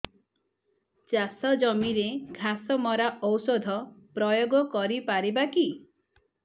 ଚାଷ ଜମିରେ ଘାସ ମରା ଔଷଧ ପ୍ରୟୋଗ କରି ପାରିବା କି